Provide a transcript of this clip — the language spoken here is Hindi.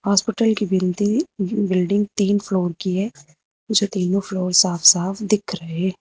हॉस्पिटल की बिंदी बिल्डिंग तीन फ्लोर की है जो तीनों फ्लोर साफ साफ दिख रहे।